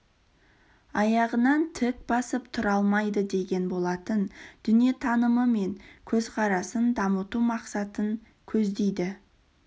аяғынан тік басып тұра алмайды деген болатын дүниетанымы мен көзқарасын дамыту мақсатын көздейді